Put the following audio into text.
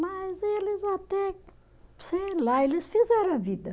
Mas eles até, sei lá, eles fizeram a vida.